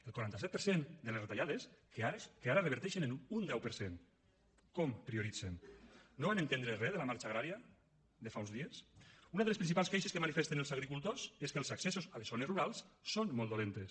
el quaranta set per cent de les retallades que ara reverteixen en un deu per cent com les prioritzen no van entendre re de la marxa agrària de fa uns dies una de les principals queixes que manifesten els agricultors és que els accessos a les zones rurals són molt dolents